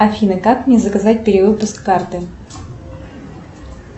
афина как мне заказать перевыпуск карты